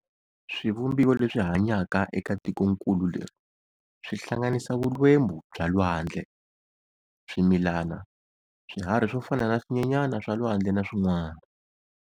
Swivumbiwa leswi hanyaka eka tikonkulu leri swihlanganisa vulwembu bya lwandle, swimilana, swiharhi swo fana na swinyenyana swa lwandle na swin'wana.